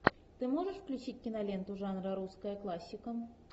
ты можешь включить киноленту жанра русская классика